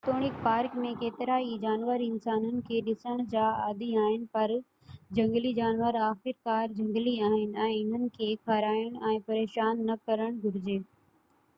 جيتوڻڪ پارڪ ۾ ڪيترائي جانور انسانن کي ڏسڻ جا عادي آهن پر جهنگلي جانور آخرڪار جهنگلي آهن ۽ انهن کي کارائڻ ۽ پريشان نہ ڪرڻ گهرجي